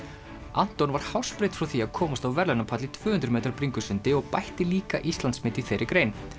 Anton var hársbreidd frá því að komast á verðlaunapall í tvö hundruð metra bringusundi og bætti líka Íslandsmet í þeirri grein